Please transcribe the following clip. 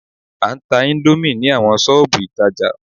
A ń tá índómì ní awọn ṣọ́ọ̀bù ìtajà